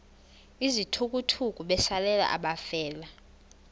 izithukuthuku besalela abafelwa